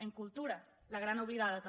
en cultura la gran oblidada també